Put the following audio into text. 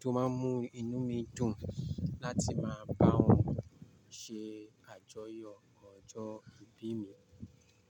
tó máa ń mú inú mi dùn láti máa bá wọn ṣe àjọyọ̀ ọjọ́ ìbí mi.